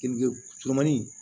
surumani